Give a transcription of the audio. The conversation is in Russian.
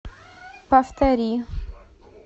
повтори